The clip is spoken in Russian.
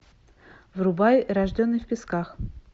врубай рожденный в песках